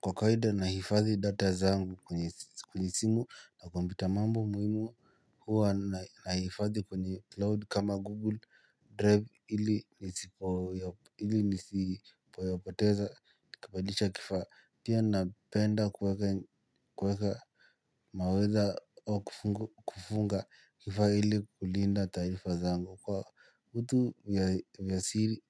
Kwa kawaida nahifadhi data zangu kwenye simu na kompyuta mambo muhimu huwa nahifadhi kwenye cloud kama google drive ili nisipo yapoteza nikabadilisha kifaa pia napenda kuweka mawaidha au kufunga kifaa ili kulinda tarifa zangu kwa utu vya